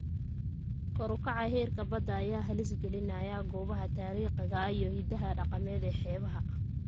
Kor u kaca heerka badda ayaa halis gelinaya goobaha taariikhiga ah iyo hidaha dhaqameed ee xeebaha.